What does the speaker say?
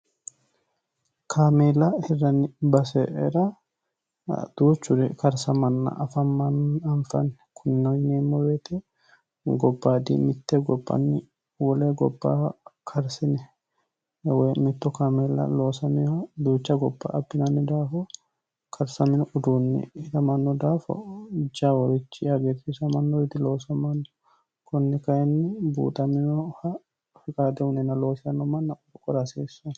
kaamiila hirranni baseera duuchuri karsamanna anfanni kunnino yineemmo wote gobaadi mitte gobbanni wole gobbara karsinewoy mitto kaamiila loosameha duucha gobba abinanni daafo karsamino uduunni hiramanno daafo jaawurichi hagiirtiisannorichidi loosamanno kunni kayinni buuxaminoh fiqaade uyiineenna loosanno manna wora hasiissanno